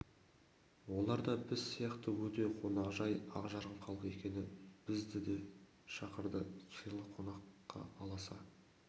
олар да біз сияқты өте қонақжай ақ жарқын халық екен бізді де шақырды сыйлы қонаққа аласа